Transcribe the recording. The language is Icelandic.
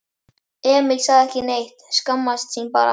Emil sagði ekki neitt, skammaðist sín bara.